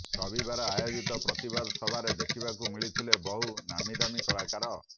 ରବିବାର ଆୟୋଜିତ ପ୍ରତିବାଦ ସଭାରେ ଦେଖିବାକୁ ମିଳିଥିଲେ ବହୁ ନାମିଦାମୀ କଳାକାର